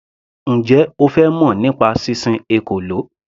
Njẹ́ O fẹ́ mọ̀ nípa sísin ekòló.